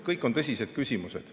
Kõik need on tõsised küsimused.